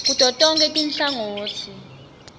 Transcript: kuto tonkhe tinhlangotsi